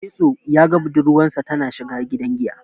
Getso ya ga budurwarsa tana shiga gidan giya.